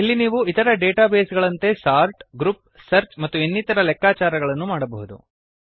ಇಲ್ಲಿ ನೀವು ಇತರ ಡೇಟಾ ಬೇಸ್ ಗಳಂತೆ ಸಾರ್ಟ್ ಗ್ರೂಪ್ ಸರ್ಚ್ ಮತ್ತು ಇನ್ನಿತರ ಲೆಕ್ಕಾಚಾರಗಳನ್ನು ಮಾಡಬಹುದು